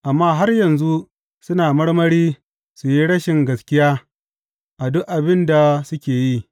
Amma har yanzu suna marmari su yi rashin gaskiya a duk abin da suke yi.